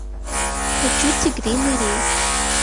хочу тигриный рейс